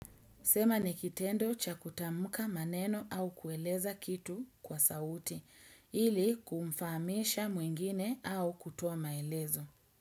Sema nikitendo cha kutamka maneno au kueleza kitu kwa sauti, ili kumfamisha mwingine au kutoa maelezo.